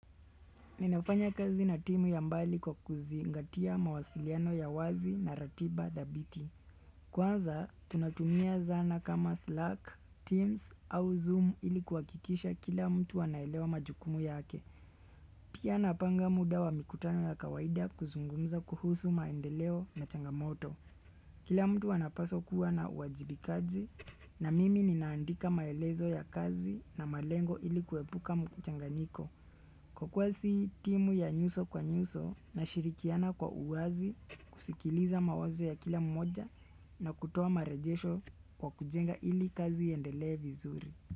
Ninafanya kazi na timu ya mbali kwa kuzingatia mawasiliano ya wazi na ratiba dhabiti. Kwanza, tunatumia zana kama Slack, Teams au Zoom ili kuhakikisha kila mtu anaelewa majukumu yake. Pia napanga muda wa mikutano ya kawaida kuzungumza kuhusu maendeleo na changamoto. Kila mtu anapaswa kuwa na uwajibikaji na mimi ninaandika maelezo ya kazi na malengo ilikuwepuka mchanganyiko. Kwa kuwa si timu ya nyuso kwa nyuso na shirikiana kwa uwazi kusikiliza mawazo ya kila mmoja na kutoa marejesho kwa kujenga ili kazi iendelee vizuri.